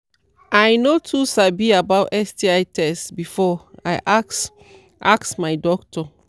i no too sabi about sti test before i ask ask my doctor